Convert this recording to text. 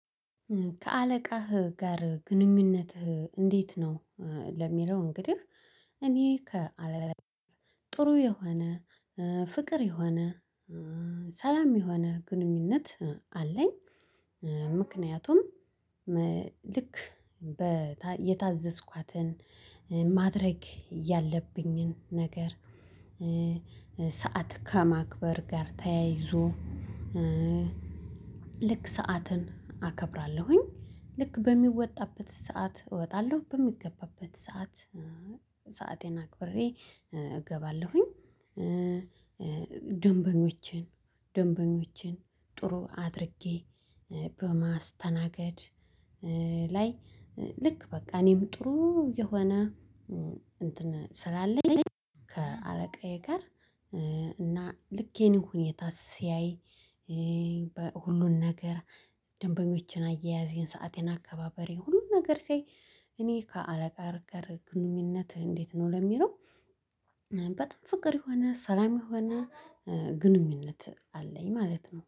ከአለቃህ ጋር ግንኙነትህ እንዴት ነው? ለሚለው እንግዲህ እኔ ከ ከጥሩ የሆነ ፍቅር የሆነ ሰላም የሆነ ግንኙነት አለኝ። ምክንያቱም ልክ የታዘዝኳትን ማድረግ ያለብኝን ነገር። ሰዓት ከማክበር ጋር ተያይዞ ልክ ሰዓትን አከብራለሁኝ ልክ በሚወጣበት ሰዓት እወጣለሁ በሚገባበት ሰዓት ሰአቴን አክብሬ እገባለሁኝ። ደንበኞችን ደንበኞችን ጥሩ አድርጌ በማስተናገድ ላይ ልክ በቃ እኔም ጥሩ የሆነ እንትን ስላለኝ ከአለቃዬ ጋር እና ልኬን ሁኔታ ሲያይ። ሁሉን ነገር ደንበኞችን አያያዝን ሰአቴን አከባበሬ ሁሉን ነገር ሲያይ እኔ ከአለቃዬ ጋር ግንኙነት እንዴት ነው ለሚለው? በጣም ፍቅር የሆነ ሰላም የሆነ ግንኙነት አለኝ ማለት ነው